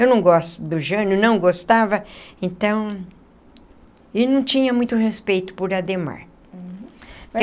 Eu não gosto do Jânio, não gostava, então... E não tinha muito respeito por Adhemar.